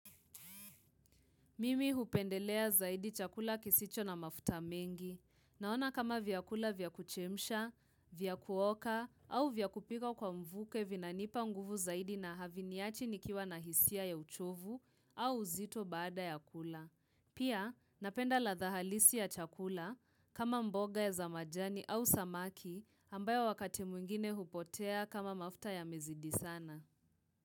Mimi hupendelea zaidi chakula kisicho na mafuta mengi, naona kama vyakula vyakuchemisha, vyakuoka, au vyakupika kwa mvuke vinanipa nguvu zaidi na haviniachi nikiwa na hisia ya uchovu au uzito baada ya kula. Pia napenda ladha halisi ya chakula kama mboga ya zamajani au samaki ambayo wakati mwingine hupotea kama mafuta ya mezidi sana.